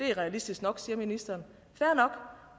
er realistisk nok siger ministeren fair